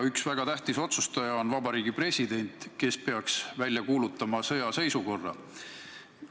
Üks väga tähtis otsustaja on Vabariigi President, kes peaks välja kuulutama sõjaseisukorra.